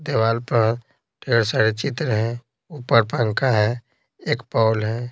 दीवार पर ढेर सारे चित्र हैं ऊपर पंखा है एक पौल है।